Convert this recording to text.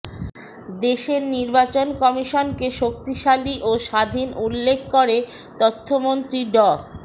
দেশের নির্বাচন কমিশনকে শক্তিশালী ও স্বাধীন উল্লেখ করে তথ্যমন্ত্রী ড